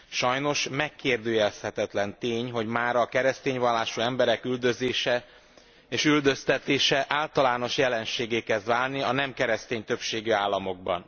Sajnos megkérdőjelezhetetlen tény, hogy mára a keresztény vallású emberek üldözése és üldöztetése általános jelenséggé kezd válni a nem keresztény többségű államokban.